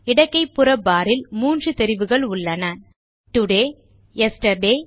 இடக்கைபுற bar ல் மூன்று தெரிவுகள் உள்ளன டோடே யெஸ்டர்டே